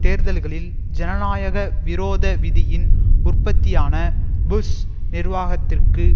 தேர்தல்களில் ஜனநாயக விரோத விதியின் உற்பத்தியான புஷ் நிர்வாகத்திற்கு